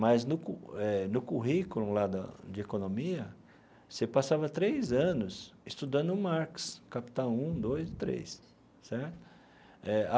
Mas no currículo lá da de economia, você passava três anos estudando Marx, Capital um, dois e três certo eh.